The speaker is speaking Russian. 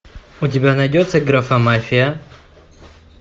у тебя найдется графа мафия